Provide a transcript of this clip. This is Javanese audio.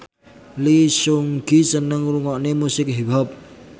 Lee Seung Gi seneng ngrungokne musik hip hop